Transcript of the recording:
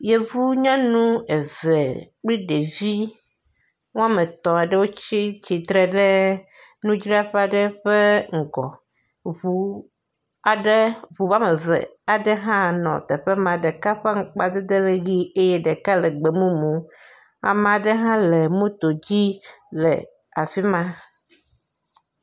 Yevu nyɔnu eve kple ɖevi wɔme etɔ̃ aɖewo tsi tsitre ɖe nudzraƒe aɖe ƒe ŋgɔ. Ŋu aɖe ŋu wɔme eve aɖe hã nɔ teƒe ma. Ɖeka ɔe ŋkpadede le dzi eye ɖeka le gbemumu. Ame aɖe hã le moto dzi le afi ma.